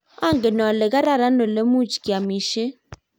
angen wole kararan ole much kiamishe.